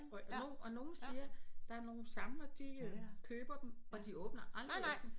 Hvor nu og nogen siger der er nogle samlere de køber dem og de åbner aldrig æsken